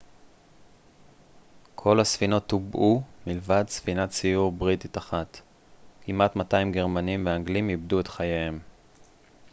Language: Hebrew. כל הספינות טובעו מלבד ספינת סיור בריטית אחת כמעט 200 גרמנים ואנגלים איבדו את חייהם